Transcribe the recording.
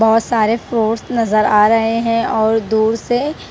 बहोत सारे फ्रूट्स नजर आ रहे हैं और दूर से--